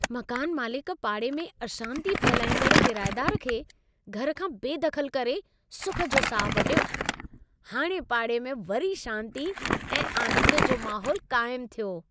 मकान मालिक पाड़े में अशांती फहिलाईंदड़ किरायेदार खे घर खां बेदख़लु करे सुख जो साहु पटियो। हाणे पाड़े में वरी शांती ऐं आनंद जो महोलु क़ाइमु थियो।